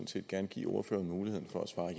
set gerne give ordføreren muligheden